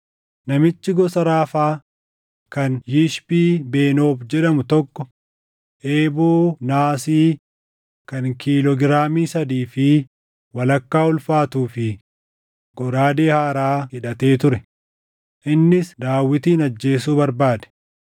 Namichi gosa Raafaa kan Yishbii-Benoob jedhamu tokko eeboo naasii kan kiiloo giraamii sadii fi walakkaa ulfaatuu fi goraadee haaraa hidhatee ture; innis Daawitin ajjeesuu barbaade.